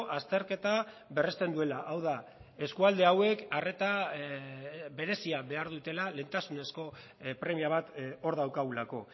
azterketa berresten duela hau da eskualde hauek arreta berezia behar dutela lehentasunezko premia bat hor daukagulako